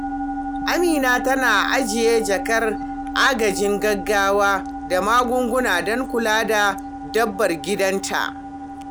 Amina tana ajiye jakar agajin gaggawa da magunguna don kula da dabbar gidanta.